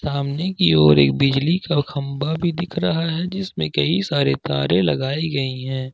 सामने की ओर एक बिजली का खंभा भी दिख रहा है जिसमें कई सारे तारे लगाई गई हैं।